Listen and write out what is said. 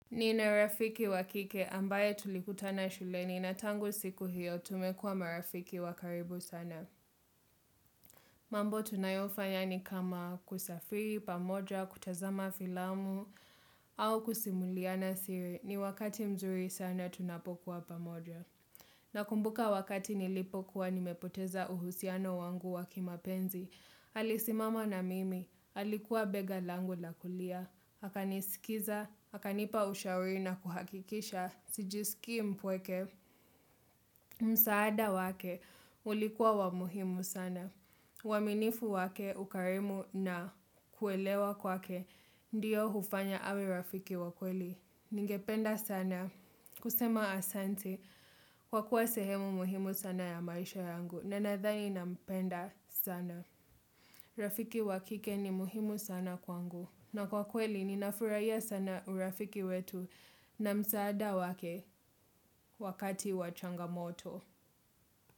Nina rafiki wa kike ambaye tulikutana shuleni na tangu siku hiyo tumekua marafiki wa karibu sana. Mambo tunayofanya ni kama kusafiri, pamoja, kutazama filamu au kusimuliana siri. Ni wakati mzuri sana tunapokuwa pamoja. Nakumbuka wakati nilipokuwa nimepoteza uhusiano wangu wa kimapenzi. Alisimama na mimi, alikuwa bega langu la kulia, akanisikiza, akanipa ushauri na kuhakikisha, sijisikii mpweke, msaada wake, ulikuwa wa muhimu sana. Uaminifu wake, ukarimu na kuelewa kwake, ndiyo hufanya awe rafiki wa kweli. Ningependa sana, kusema asanti, kwa kuwa sehemu muhimu sana ya maisha yangu, na nadhani nampenda sana. Rafiki wa kike ni muhimu sana kwangu. Na kwa kweli, ninafurahia sana urafiki wetu na msaada wake wakati wa changamoto.